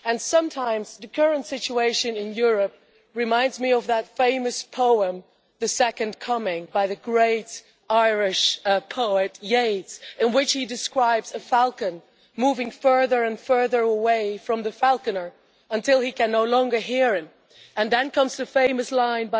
Sometimes the current situation in Europe reminds me of that famous poem The Second Coming' by the great Irish poet Yeats, in which he describes a falcon moving further and further away from the falconer until it can no longer hear him, and then comes the famous line